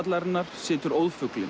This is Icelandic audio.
Morgunblaðshallarinnar situr